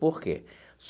Por quê?